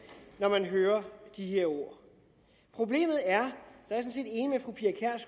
når man hører de her ord problemet er